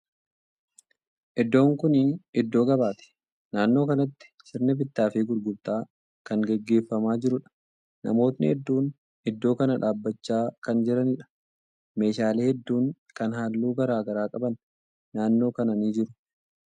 Iddoon kuni iddoo gabaati. Naannoo kanatti sirni bittaa fi gurgurtaa kan gaggeeffamaa jiruudha. Namootni hedduun iddoo kana dhaabbachaa kan jiraniidha. Meeshaalee hedduun kan haalluu garagaraa qaban naannoo kana ni jiru.